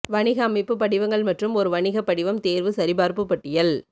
வணிக அமைப்பு படிவங்கள் மற்றும் ஒரு வணிக படிவம் தேர்வு சரிபார்ப்பு பட்டியல்